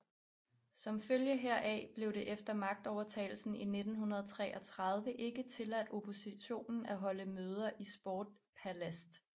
Som følge heraf blev det efter magtovertagelsen i 1933 ikke tilladt oppositionen at holde møder i Sportpalast